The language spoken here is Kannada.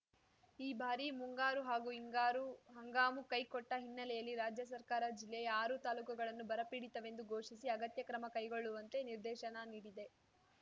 ಈ ಬಾರಿ ಮುಂಗಾರೂ ಹಾಗೂ ಹಿಂಗಾರು ಹಂಗಾಮು ಕೈ ಕೊಟ್ಟಹಿನ್ನೆಲೆಯಲ್ಲಿ ರಾಜ್ಯ ಸರ್ಕಾರ ಜಿಲ್ಲೆಯ ಆರೂ ತಾಲೂಕುಗಳನ್ನು ಬರಪೀಡಿತವೆಂದು ಘೋಷಿಸಿ ಅಗತ್ಯ ಕ್ರಮ ಕೈಗೊಳ್ಳುವಂತೆ ನಿರ್ದೇಶನ ನೀಡಿದೆ